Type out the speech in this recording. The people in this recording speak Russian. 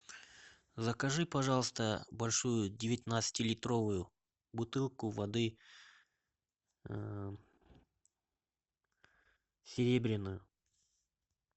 закажи пожалуйста большую девятнадцатилитровую бутылку воды серебряную